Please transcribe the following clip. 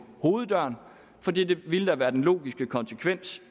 hoveddøren for det ville da være den logiske konsekvens